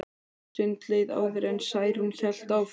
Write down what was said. Nokkur stund leið áður en Særún hélt áfram.